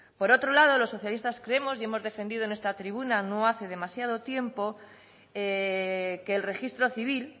por otro lado los socialistas creemos y hemos defendido en esta tribuna no hace demasiado tiempo que el registro civil